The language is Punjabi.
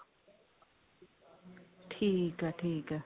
ਠੀਕ ਹੈ ਠੀਕ ਹੈ